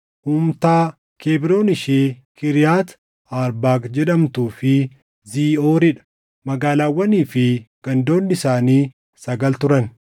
Humtaa, Kebroon ishee Kiriyaati Arbaaq jedhamtuu fi Ziiʼoorii dha; magaalaawwanii fi gandoonni isaanii sagal turan.